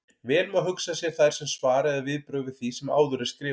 Vel má hugsa sér þær sem svar eða viðbrögð við því sem áður er skrifað.